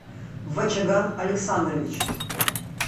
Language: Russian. вачаган александрович